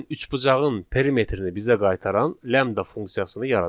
Gəlin üçbucağın perimetrini bizə qaytaran lambda funksiyasını yaradaq.